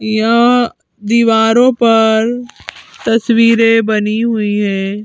यह दीवारों पर तस्वीरें बनी हुई हैं।